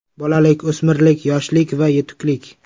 Bolalik, o‘smirlik, yoshlik va yetuklik.